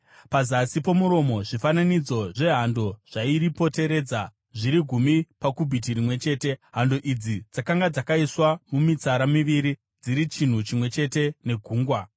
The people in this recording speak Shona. Pazasi pomuromo, zvifananidzo zvehando zvairipoteredza, zviri gumi pakubhiti rimwe chete . Hando idzi dzakanga dzakaiswa mumitsara miviri dziri chinhu chimwe chete neGungwa.